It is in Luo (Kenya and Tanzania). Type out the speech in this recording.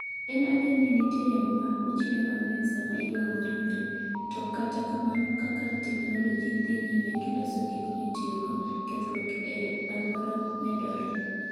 En adier ni nitie yamo ma ochido mang'eny sama iwang'o ringre, to kata kamano kaka teknoloji dhi nyime gi loso gik mitiyogo, kethruok e alwora medore.